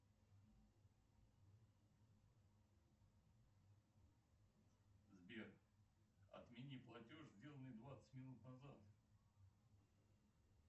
сбер отмени платеж сделанный двадцать минут назад